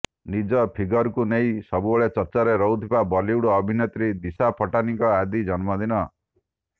ନିଜ ଫିଗରକୁ ନେଇ ସବୁବେଳେ ଚର୍ଚ୍ଚାରେ ରହୁଥିବା ବଲିଉଡ ଅଭିନେତ୍ରୀ ଦିଶା ପଟାନୀଙ୍କ ଆଜି ଜନ୍ମଦିନ